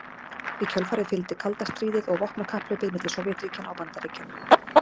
Í kjölfarið fylgdi kalda stríðið og vopnakapphlaupið milli Sovétríkjanna og Bandaríkjanna.